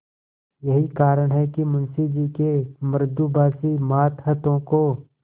यही कारण है कि मुंशी जी के मृदुभाषी मातहतों को